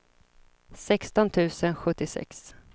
sexton tusen sjuttiosex